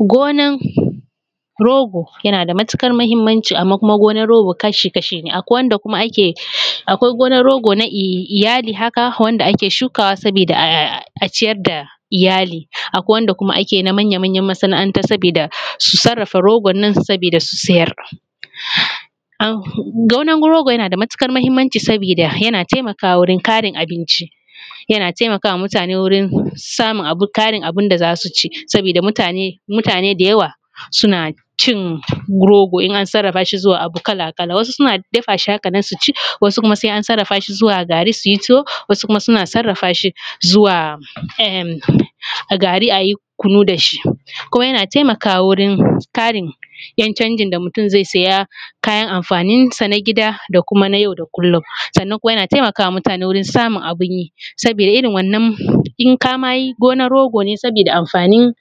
Gonar rogo yana da matukar muhimmanci amma kuma gonar rogo kashi kasha ne akwai wanda kuma ake akwai gonar rogo na iyali haka wanda ake shukawa saboda aciyar da iyali akwai wanda kuma ake na manya manya masana’anta sabida su sarrafa rogon nan sabida su siyar gonar rogo yana da matukar muhimmanci sabida yana taimakawa wurin Karin abinci yana taimakawa mutane wurin samun tarin abinda zasu ci sabida mutane da yawa suna cin rogo in an sarrafa shi zuwa abu kala kala wasu suna dafashi haka nan suci wasu kuma sai an sarrafa shi zuwa gari suyi tuwo wasu kuma suna sarrafa shi zuwa gari ayi kunu dashi kuma yana taimakawa wurin tarin yan canjin da mutum zai siya kayan amfanin san a gida da yau da kullum sannan kuma yana taimakawa wurin samun abunyi sabida irin wannan in kamayi gonar rogo ne sabida amfanin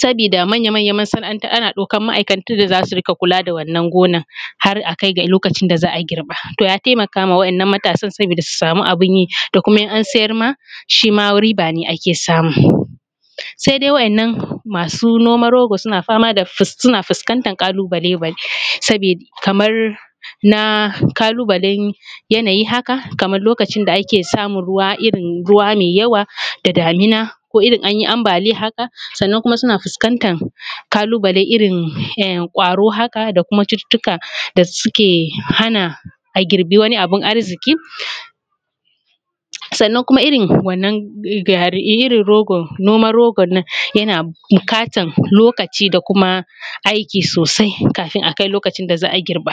sabida manya manya masana’anta ana ɗaukan ma’aikata wanda zasu rika kula da wannan gonar har akai ga lokacin da za’a girba to ya taimakawa waɗannan matasa sabida su samu abin yi da kuma in an siyarma shi ma riba ne ake samu sai dai waɗannan masu noman rogo suna fama da fuskantar kalubale kamar na kalubalen yanayi haka kamar lokacin da ake samun ruwa irin ruwa mai yawa da damuna irin anyi ambaliya haka sannan kuma suna fuskantar kalubale irin kwaro haka da kuma cututuka da suke hana agirbi wani abu arziƙi sannan kuma irin wannan garin irin rogon nan yana bukatar lokaci da kuma aiki sosai kafin akai lokacin da za’a girba.